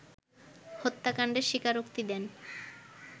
হত্যাকাণ্ডের স্বীকারোক্তি দেন